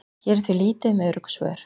hér er því lítið um örugg svör